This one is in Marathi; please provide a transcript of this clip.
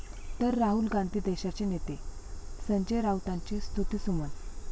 ...तर राहुल गांधी देशाचे नेते, संजय राऊतांची स्तुतीसुमनं